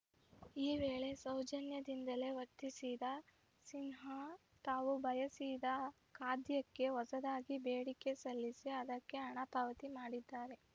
ಈ ವೇಳೆ ಸೌಜನ್ಯದಿಂದಲೇ ವರ್ತಿಸಿದ ಸಿನ್ಹಾ ತಾವು ಬಯಸಿದ ಖಾದ್ಯಕ್ಕೆ ಹೊಸದಾಗಿ ಬೇಡಿಕೆ ಸಲ್ಲಿಸಿ ಅದಕ್ಕೆ ಹಣ ಪಾವತಿ ಮಾಡಿದ್ದಾರೆ